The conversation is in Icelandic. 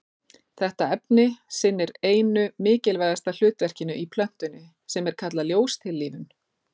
Þetta efni sinnir einu mikilvægasta hlutverkinu í plöntunni sem er kallað ljóstillífun.